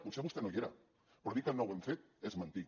potser vostè no hi era però dir que no ho hem fet és mentir